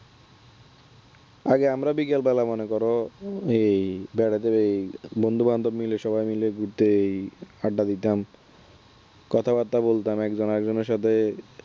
আগে আমরা বিকেল বেলা মনে করো এই বেড়াতে এই বন্ধুবান্ধবদের মিলে সবাই মিলে এই ঘুরতে আড্ডা দিতাম কথাবার্তা বলতাম একজন আরেকজনের সাথে